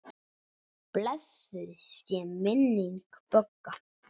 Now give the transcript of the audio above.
Blessuð sé minning Bögga.